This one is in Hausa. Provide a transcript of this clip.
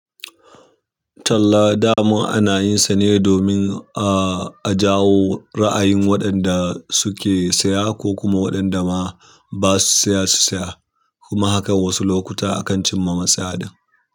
Talla dama ana yin sa ne domin. A jawo ra'ayin waɗan da suke saya ko kuma waɗan da ma basu yasa su saya kuma hakan wasu lokuta ma akan cimma matsaya ɗin.